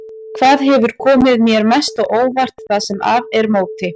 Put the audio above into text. Hvað hefur komið þér mest á óvart það sem af er móti?